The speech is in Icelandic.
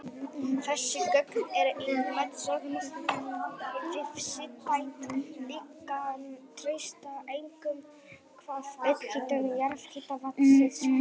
Þessi gögn eru í mótsögn við sístætt líkan Trausta, einkum hvað upphitun jarðhitavatnsins varðar.